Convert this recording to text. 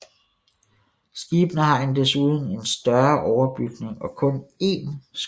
Skibene har en desuden en større overbygning og kun en skorsten